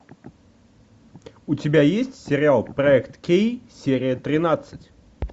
у тебя есть сериал проект кей серия тринадцать